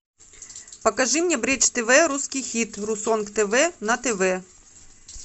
покажи мне бридж тв русский хит русонг тв на тв